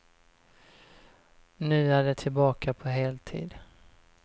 Nu är de tillbaka på heltid.